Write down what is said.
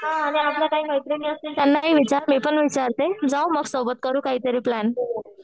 हां आणि आपल्या काही मैत्रिणी असतील त्यांना ही विचार मी पण विचारते जाऊ मग सोबत करू काहीतरी प्लॅन